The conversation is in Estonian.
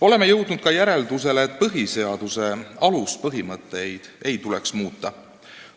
" Oleme jõudnud ka järeldusele, et põhiseaduse aluspõhimõtteid ei tuleks muuta.